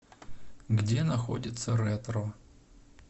где находится ретро